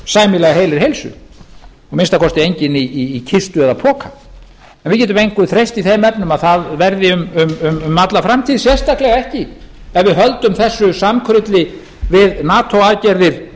sæmilega heilir heilsu að minnsta kosti enginn í kistu eða poka en við getum engu treyst í þeim efnum að það verði um alla framtíð sérstaklega ekki ef við höldum þessu samkrulli við nato aðgerðir